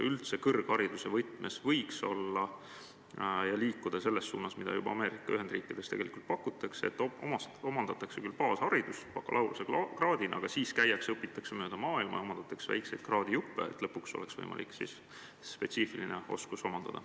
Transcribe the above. Kas kõrghariduses võiks liikuda selles suunas, mida me Ameerika Ühendriikides tegelikult juba näeme: pakutakse, et omandatakse küll baasharidus, lõpetades bakalaureusekraadiga, aga siis käiakse mööda maailma ja omandatakse väikseid kraadijuppe, et lõpuks oleks omandatud spetsiifiline oskus?